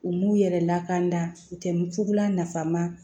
U m'u yɛrɛ lakana u tɛ nugulamafaama